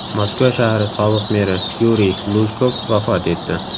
Moskva shahri sobiq meri Yuriy Lujkov vafot etdi.